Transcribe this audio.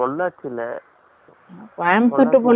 Coimbatore to Pollachi bus தான